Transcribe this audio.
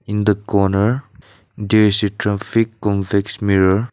in the corner there is a traffic convex mirror.